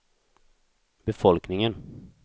befolkningen